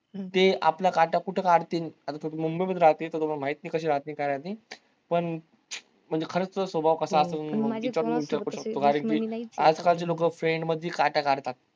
ते आपला काटा कुठं काढतीन, आता तू मुंबई मध्ये राहते, मला माहित नाही कशे राहती काय राहती पण म्हणजे खरंच स्वभाव कसा आसल आजकालचे लोकं friend मधी काटा काढतात